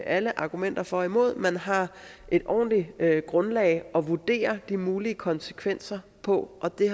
alle argumenter for og imod at man har et ordentligt grundlag at vurdere de mulige konsekvenser på og det